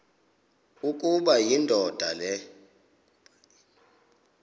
ukuba indoda le